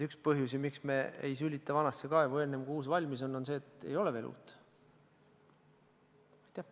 Üks põhjus, miks me ei sülita vanasse kaevu, enne kui uus valmis on, on see, et ei ole veel uut kaevu.